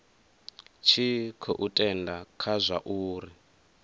tshi khou tenda kha zwauri